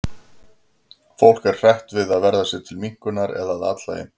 Fólk er hrætt við að verða sér til minnkunar eða að athlægi.